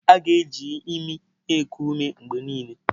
A ga-eji imi na-eku ume mgbe niile.